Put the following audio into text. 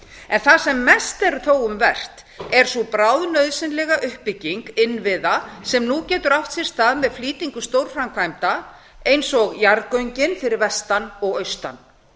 en það sem mest er þó um vert er sú bráðnauðsynlega uppbygging innviða sem nú getur átt sér stað með flýtingu stórframkvæmda eins og jarðgöngin fyrir vestan og austan